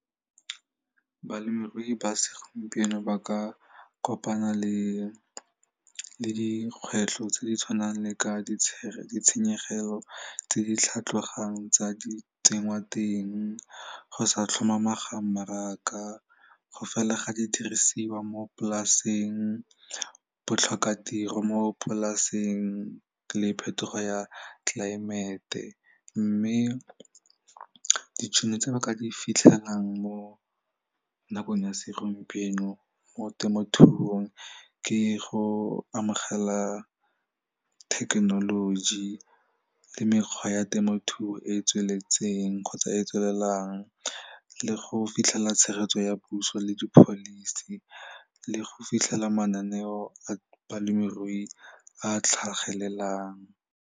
Balemirui ba segompieno ba ka kopana le dikgwetlho tse di tshwanang le ka ditshenyegelo tse di tlhatlogang tsa di tsengwateng go sa tlhomamang ga mmaraka, go fela ga didirisiwa mo polaseng, botlhokatiro mo polaseng le phetogo ya tlelaemete mme ditšhono tse ba ka di fitlhelang mo nakong ya segompieno mo temothuong ke go amogela thekenoloji le mekgwa ya temothuo e e tsweletseng kgotsa e e tswelelang le go fitlhela tshegetso ya puso le di-policy le go fitlhela mananeo a balemirui a tlhagelelang.